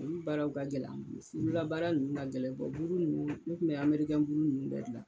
Ulu baaraw ka gɛlɛn an bolo olu labaara ninnuu ka gɛlɛn buru ninnu u kun bɛ amerikɛn buru ninnu bɛɛ gilan.